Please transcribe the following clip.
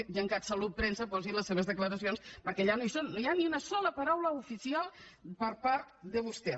al gencat salut premsa posi hi les seves declaracions perquè allà no hi són no hi ha ni una sola paraula oficial per part de vostè